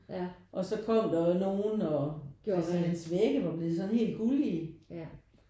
Og så kom der jo nogen og altså hans vægge var blevet sådan helt gullige